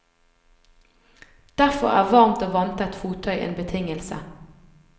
Derfor er varmt og vanntett fottøy en betingelse.